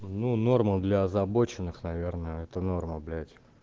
ну норма для озабоченных наверное это норма блять